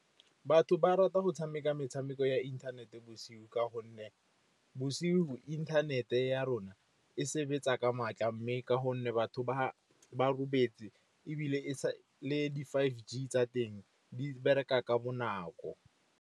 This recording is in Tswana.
Batho ba rata go tshameka metshameko ya inthanete bosigo ka gonne bosigo inthanete ya rona e sebetsa ka matla, mme ka gonne batho ba robetse ebile e le di five G tsa teng di bereka ka bonako.